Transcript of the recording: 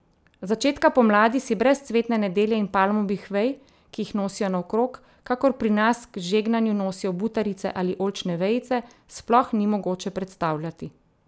Začetka pomladi si brez cvetne nedelje in palmovih vej, ki jih nosijo naokrog, kakor pri nas k žegnanju nosijo butarice ali oljčne vejice, sploh ni mogoče predstavljati.